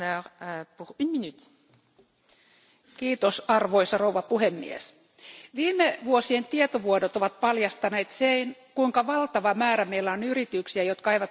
Arvoisa puhemies, viime vuosien tietovuodot ovat paljastaneet sen, kuinka valtava määrä meillä on yrityksiä, jotka eivät maksa veroja maahan, jossa voitot on tehty.